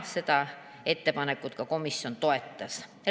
Seda ettepanekut komisjon toetas.